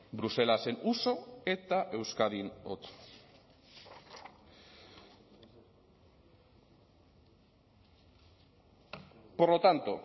bruselasen uso eta euskadin otso por lo tanto